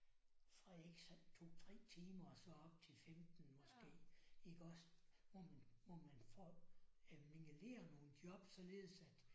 Fra ikke sådan 2 3 timer og så op til 15 måske iggås hvor man hvor man får øh mingeleret nogle således at